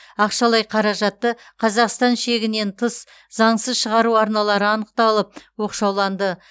ақшалай қаражатты қазақстан шегінен тыс заңсыз шығару арналары анықталып оқшауланды